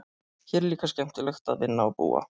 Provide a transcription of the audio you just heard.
Hér er líka skemmtilegt að vinna og búa.